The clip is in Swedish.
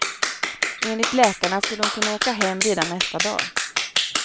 Enligt läkarna skulle hon kunna åka hem redan nästa dag.